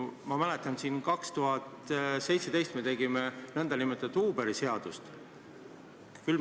Ma mäletan, et 2017 tegime me nn Uberi seadust.